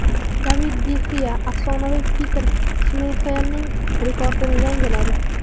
David de Xea afsonaviy Petr Shmeyxelning rekordini yangiladi.